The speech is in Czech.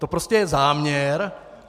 To prostě je záměr.